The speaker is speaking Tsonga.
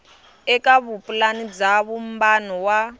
eka vupulani bya vumbano wa